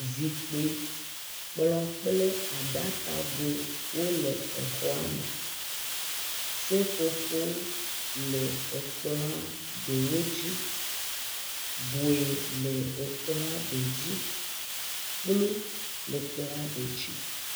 Zikpui, kplɔ kũle aɖkago wo le exɔa me. Seƒoƒo le ekplɔa ɖewo dzi. Gui le ekplɔa ɖe dzi. Kplu le ekplɔa ɖe dzi.